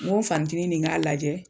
Ŋo n fanicinin nin k'a lajɛ